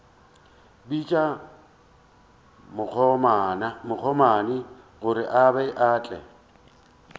bitša bakgomana gore ba tle